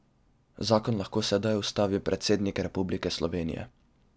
Zakon lahko sedaj ustavi predsednik Republike Slovenije.